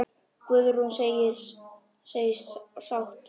Guðrún segist sátt.